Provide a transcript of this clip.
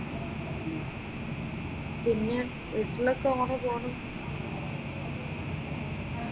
പിന്നെ വീട്ടിലൊക്കെ എങ്ങനെ പോകുന്നു?